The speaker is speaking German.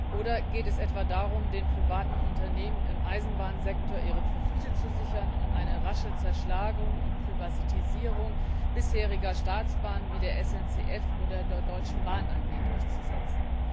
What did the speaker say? Oder geht es etwa darum, den privaten Unternehmen im Eisenbahnsektor ihre Profite zu sichern und eine rasche Zerschlagung und Privatisierung bisheriger Staatsbahnen wie der SNCF oder der Deutschen Bahn AG durchzusetzen?